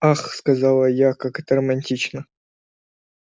ах сказала я как это романтично